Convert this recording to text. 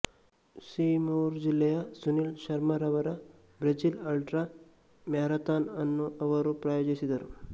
ಸಿರ್ಮೌರ್ ಜಿಲ್ಲೆಯ ಸುನಿಲ್ ಶರ್ಮಾರವರ Brazil ultra marathon ಅನ್ನು ಅವರು ಪ್ರಾಯೋಜಿಸಿದರು